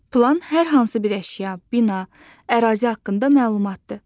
Plan hər hansı bir əşya, bina, ərazi haqqında məlumatdır.